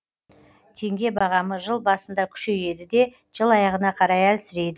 теңге бағамы жыл басында күшейеді де жыл аяғына қарай әлсірейді